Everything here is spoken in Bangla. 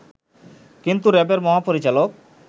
কিন্তু র‍্যাবের মহাপরিচালক